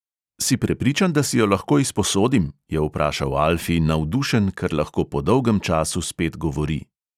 "Si prepričan, da si jo lahko izposodim?" je vprašal alfi navdušen, ker lahko po dolgem času spet govori.